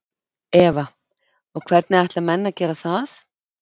Eva: Og hvernig ætla menn að gera það?